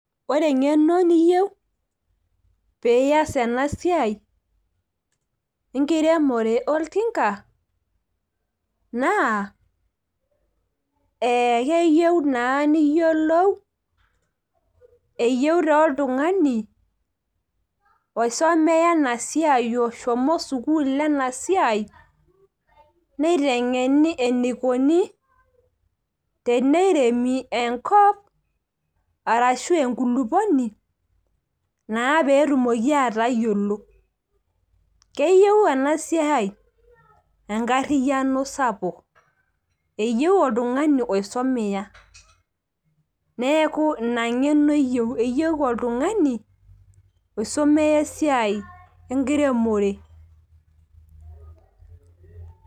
ore eng'eno niyieu pee iyas ena siai naa naa keyieu naa niyiolou , eyieu taa oltung'ani osomeya ena siai, oshomo sukuul ena sisi niteng'eni enikoni, teneremi enkop ashuu enkulukuoni naa pee etumoki atayiolo, keyieu ena siai enkariyiano sapuk eyieu oltung'ani oisomeya neeku ina ng'eno eyieu , eyieu neeku ina ng'ene eyieu oltung'ani osomeya esiai enkiremore.